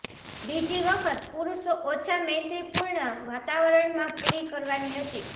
બીજી વખત પુરુષો ઓછા મૈત્રીપૂર્ણ વાતાવરણમાં પૂરી કરવાની હતી